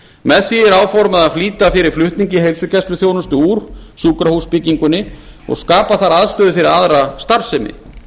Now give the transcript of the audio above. með því er áformað að flýta fyrir flutningi heilsugæsluþjónustu úr sjúkrahúsbyggingunni og skapa þar aðstöðu fyrir aðra starfsemi